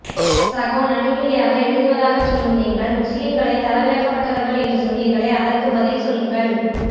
சகோ நடுநிலையாக எழுதுவதாகச் சொல்லும் நீங்கள் முஸ்லீம்களை தறவிறக்கப்பட்டவர்கள் என்று சொன்னீர்களே அதற்க்கு பதில் சொல்லுங்கள்